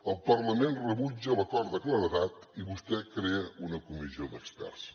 el parlament rebutja l’acord de claredat i vostè crea una comissió d’experts